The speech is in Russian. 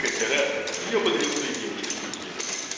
как то раз я подарил своей девушке букет